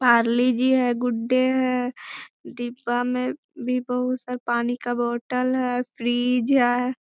Parle G है। Good Day है। डिब्बा में भी बहुत सारे पानी का बोतल है। फ्रिज है।